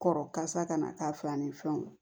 Kɔrɔ kasa kana k'a fa ni fɛnw